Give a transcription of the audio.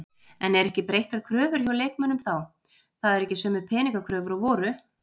En eru ekki breyttar kröfur hjá leikmönnum þá, það eru ekki sömu peningakröfur og voru?